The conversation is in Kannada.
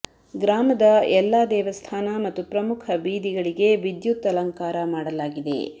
ಗ್ರಾಮದ ಎಲ್ಲ ದೇವಸ್ಥಾನ ಮತ್ತು ಪ್ರಮುಖ ಬೀದಿಗಳಿಗೆ ವಿದ್ಯುತ್ ಅಲಂಕಾರ ಮಾಡಲಾಗಿದೆ